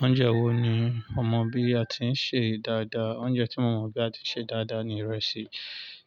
Oúnjẹ wo ni ọ mọ bí a ti ń sè dáadáa? Oúnjẹ tí mo mọ̀ bí a ti ń ṣe dáadáa ni ìrẹsì.